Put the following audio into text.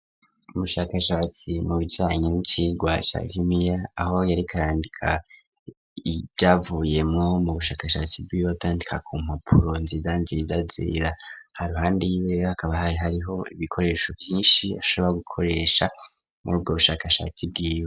Ubushakashatsi mu bijanye ni cirwa ca gimiya aho yariko arandika ivyavuyemwo mu bushakashatsi bwiwe awandika ku mpapuro nziza nziza zera haruhande yiwe hakaba hari hariho ibikoresho vyishi ashobra gukoresha mu rubwo bushakashatsi bwiwe.